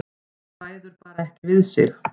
Ræður bara ekki við sig.